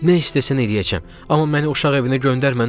Nə istəsən eləyəcəm, amma məni uşaq evinə göndərmə, nə olar?